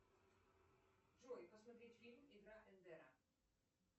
джой посмотреть фильм игра эндера